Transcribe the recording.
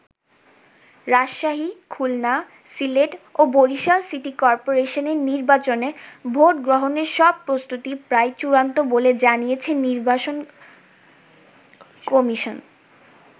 রাজশাহী, খুলনা, সিলেট ও বরিশাল সিটি কর্পোরেশনের নির্বাচনে ভোট গ্রহণের সব প্রস্তুতি প্রায় চূড়ান্ত বলে জানিয়েছে নির্বাচন কমিশন।